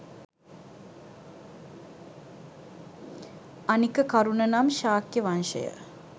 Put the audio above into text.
අනික කරුන නම් ශාක්‍ය වංශය